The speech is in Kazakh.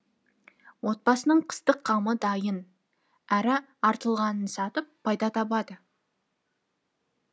отбасының қыстық қамы дайын әрі артылғанын сатып пайда табады